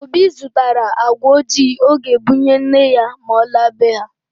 Obi zụtara agwa ojii ọ ga-ebunye nne ya ma ọ laa be ha